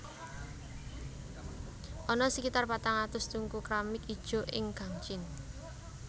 Ana sekitar patang atus tungku kramik ijo ing Gangjin